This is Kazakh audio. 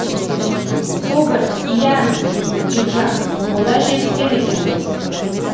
тобыр иә бекжан онда жетіскен екенбіз